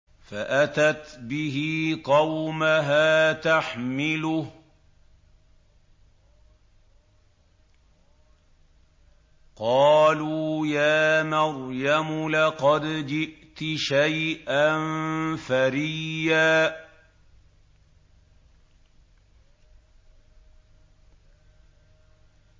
فَأَتَتْ بِهِ قَوْمَهَا تَحْمِلُهُ ۖ قَالُوا يَا مَرْيَمُ لَقَدْ جِئْتِ شَيْئًا فَرِيًّا